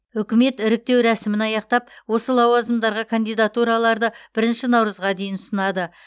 үкімет іріктеу рәсімін аяқтап осы лауазымдарға кандидатураларды бірінші наурызға дейін ұсынады